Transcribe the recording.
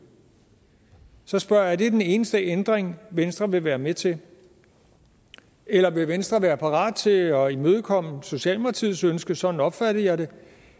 så spørger jeg er det den eneste ændring venstre vil være med til eller vil venstre være parat til at imødekomme socialdemokratiets ønske sådan opfattede jeg det